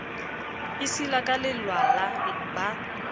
e sila ka lelwala ba